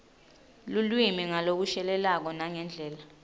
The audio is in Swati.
lulwimi ngalokushelelako nangendlela